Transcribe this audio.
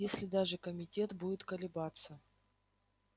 если даже комитет будет колебаться